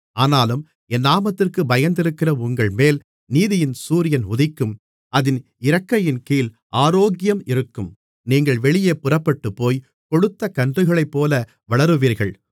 ஆனாலும் என் நாமத்திற்குப் பயந்திருக்கிற உங்கள்மேல் நீதியின் சூரியன் உதிக்கும் அதின் இறக்கையின்கீழ் ஆரோக்கியம் இருக்கும் நீங்கள் வெளியே புறப்பட்டுப்போய் கொழுத்த கன்றுகளைப்போல வளருவீர்கள்